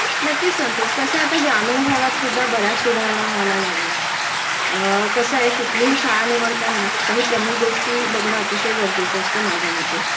नक्कीच संतोष.कसंय आता ग्रामीण भागात सुद्धा बऱ्याच सुधारणा व्हायला लागल्या आहेत.अ कसंहे कुठलीही शाळा निवडताना काही प्रमुख गोष्टी बघणं अतिशय गरजेचं असतं माझ्यामते